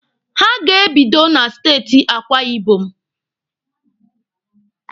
Ha ga-ebido na steeti Akwa Ibom.